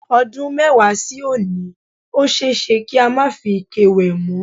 O̩dún mé̩wàá sí òní, ó s̩e é s̩e kí a má fi ike wè̩ mó̩.